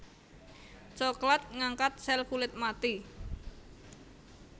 Cokelat ngangkat sel kulit mati